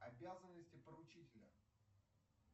обязанности поручителя